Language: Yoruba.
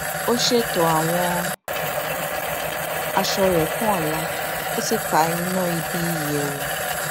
ó ṣètò àwọn aṣọ rẹ fún ọla ó sì pa iná ibi ìyẹwù